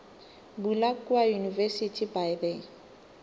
bula kua university by the